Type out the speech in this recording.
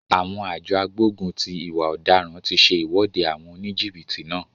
Àwọn àjọ agbógun ti ìwà ọ̀daràn ti se ìwọ́de àwọn oníjìbìtì náà.